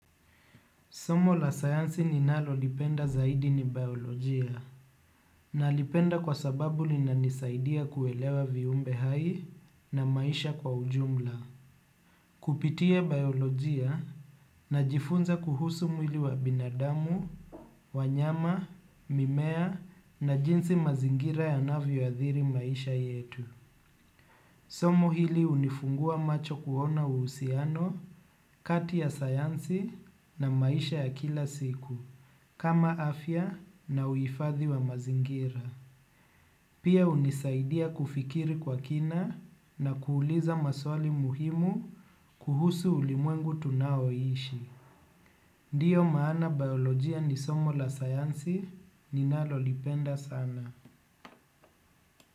Somo la sayansi ninalo lipenda zaidi ni biolojia. Na lipenda kwa sababu lina nisaidia kuelewa viumbe hai na maisha kwa ujumla. Kupitia biolojia na jifunza kuhusu mwili wa binadamu, wanyama, mimea na jinsi mazingira yanavio athiri maisha yetu. Somo hili unifungua macho kuona uhusiano kati ya sayansi na maisha ya kila siku. Kama afya na uifathi wa mazingira. Pia unisaidia kufikiri kwa kina na kuuliza maswali muhimu kuhusu ulimwengu tunaoishi. Ndio maana biolojia ni somo la sayansi ninalo lipenda sana.